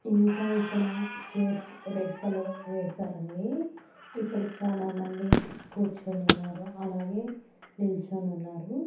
ఇంకా ఇక్కడ chairs red colour వేశారండి ఇక్కడ చాలా మంది కూర్చొని ఉన్నారు అలాగే నిల్చొని ఉన్నారు.